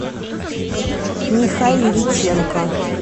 михайличенко